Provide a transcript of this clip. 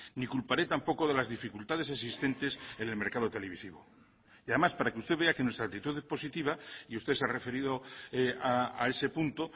ni culparé tampoco de las dificultades existentes en el mercado televisivo y además para que usted vea que nuestra actitud es positiva y usted se ha referido a ese punto